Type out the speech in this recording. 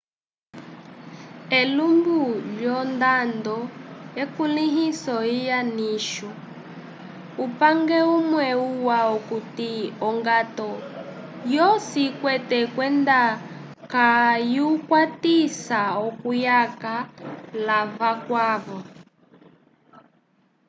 elumbu lyondando ekulĩhiso lya nicho upange umwe uwa okuti ongato yosi ikwete kwenda kayukwatisa okuyaka l'avakwavo